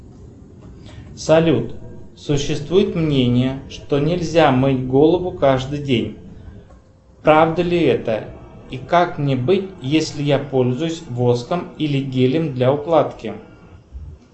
салют существует мнение что нельзя мыть голову каждый день правда ли это и как мне быть если я пользуюсь воском или гелем для укладки